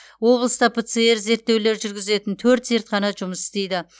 облыста пцр зерттеулер жүргізетін төрт зертхана жұмыс істейді